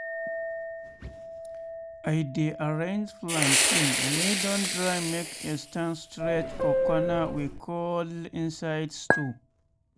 i dey arrange plantain wey don dry make e stand straight for corner wey cold inside store.